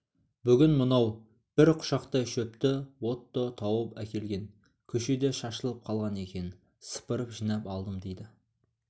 бүгін мынау бір құшақтай шөпті отто тауып әкелген көшеде шашылып қалған екен сыпырып жинап алдым дейді